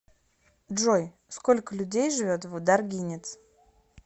джой сколько людей живет в даргинец